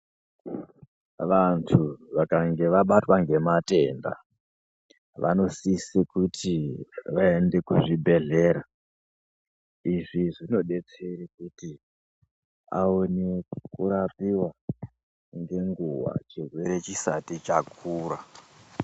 Vantu vakange vabatwa ngematenda vanosise kuti vaende kuzvibhedhlera izvi zvinodetsere kuti aone kurapiwa ngenguwa chirwere chisati chakura.